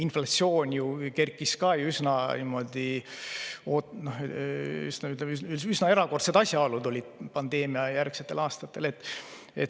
Inflatsioon ju kerkis ka üsna ootamatult, üsna erakordsed asjaolud olid pandeemiajärgsetel aastatel.